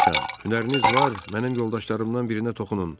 Hünəriniz var, mənim yoldaşlarımdan birinə toxunun.